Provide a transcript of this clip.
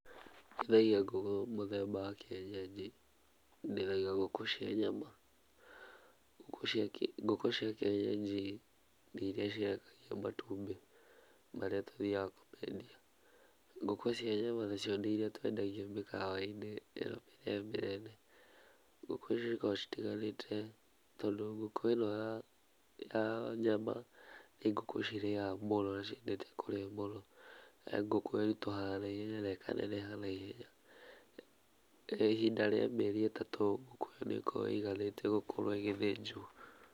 Ndĩithagia ngũkũ mũthemba wa kĩenyenji, ndĩithagia ngũkũ cia nyama. Ngũkũ cia kĩenyenji nĩ iria cirekagia matumbĩ, marĩa tũthiaga kuendia. Ngukũ cia nyama nacio nĩ irie twendagia mĩkawa-inĩ ĩno mĩnene mĩnene. Ngũkũ icio cikoragwo citiganĩte tondũ ngũkũ ĩno ya nyama nĩ ngũkũ cirĩaga mũno nĩ ciendete kũrĩa mũno, nĩ ngũkũ ĩritũhaga na ihenya na ĩkaneneha na ihenya. Ihinda rĩa mĩeri ĩtatũ ngũkũ ĩyo nĩ ĩkoragwo ĩiganĩte gũkorwo ĩgĩthĩnjwo.